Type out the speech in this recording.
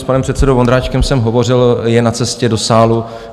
S panem předsedou Vondráčkem jsem hovořil, je na cestě do sálu.